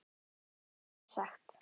Eða svo er sagt.